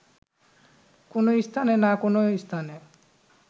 কোন স্থানে না কোন স্থানে